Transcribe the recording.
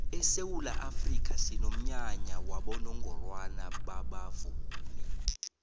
esewula afrika sinomnyanya wabonongorwana babavumi